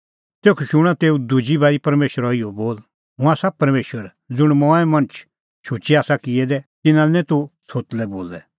तेखअ शूणअ तेऊ दुजी बारी परमेशरो इहअ बोल हुंह आसा परमेशर ज़ुंण मणछ मंऐं शुचै आसा किऐ दै तिन्नां लै निं तूह छ़ोतलै बोलै